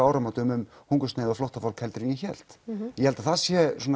áramótum um hungursneyð og flóttafólk heldur en ég hélt ég held að það sé